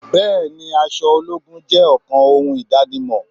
Bẹẹni, aṣọ ológun jẹ́ ọ̀kan ohun idanimọ.